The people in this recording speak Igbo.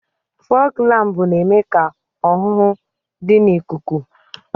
Fọọg lámpu na-eme ka ọhụhụ dị n'ikuku.